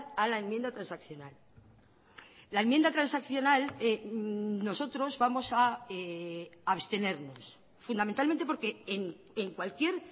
a la enmienda transaccional la enmienda transaccional nosotros vamos a abstenernos fundamentalmente porque en cualquier